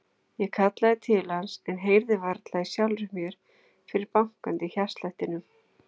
Ég kallaði til hans en heyrði varla í sjálfri mér fyrir bankandi hjartslættinum.